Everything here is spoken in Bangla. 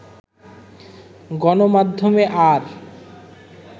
গণমাধ্যমে আর